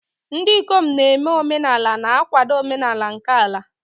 Ndị ikom na-eme omenala na-akwado omenala nke ala.